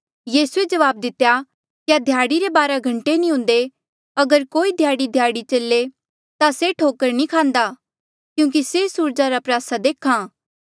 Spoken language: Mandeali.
यीसूए जवाब दितेया क्या ध्याड़ी रे बारा घंटे नी हुंदे अगर कोई ध्याड़ीध्याड़ी चले ता से ठोकर नी खांदा क्यूंकि से सूरजा रा प्रयासा देख्हा